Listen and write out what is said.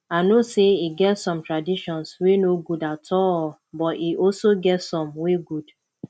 i know say e get some traditions wey no good at all but e also get some wey good